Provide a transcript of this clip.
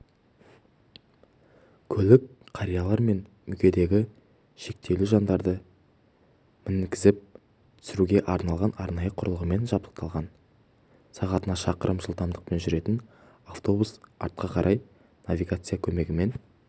көлік қариялар мен мүмкіндігі шектеулі жандарды мінгізіп түсіруге арналған арнайы құрылғымен жабықталған сағатына шақырым жылдамдықпен жүретін автобус артқа қарай навигация көмегімен